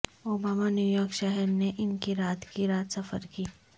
Obama New York شہر نے ان کی رات کی رات سفر کی